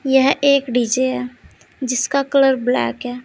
यह एक डी_जे है जिसका कलर ब्लैक है।